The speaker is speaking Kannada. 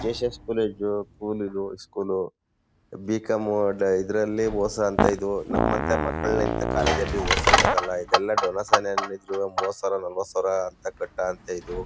ಜೆಎಸ್ಎಸ್ ಕಾಲೇಜು ಸ್ಕೂಲಿದ ಇದು. ಇಸ್ಕೂಲ್ . ಬಿಕಾಂ ಡ ಇದರಲ್ಲಿ ಮೋಸ ಅಂತೇ ಇದು. ನಮ್ಮಂತ ಮಕ್ಕಳನ್ನ ಇಂತ ಕಾಲೇಜ ಅಲ್ಲಿ ಓಡಿಸಕ್ಕಾಗಲ್ಲ ಇದೆಲ್ಲ ಡೊನೇಶನ್ ಏನಿದ್ರೂ ಮೂವತ್ತು ಸಾವಿರ ನಲವತ್ತು ಸಾವಿರ ಅಂತ ಕಟ್ಟಾ ಅಂತೇ ಇದು.